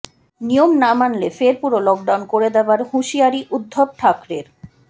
নিয়ম না মানলে ফের পুরো লকডাউন করে দেওয়ার হুঁশিয়ারি উদ্ধব ঠাকরের